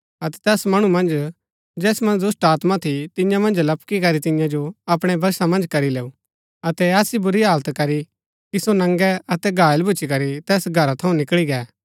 अतै तैस मणु मन्ज जैस मन्ज दुष्‍टात्मा थी तियां पुर लपकिकरी तियां जो अपणै वशा मन्ज करी लैऊ अतै ऐसी बुरी हालत करी कि सो नंगे अतै घायल भूच्ची करी तैस घरा थऊँ निकळी गै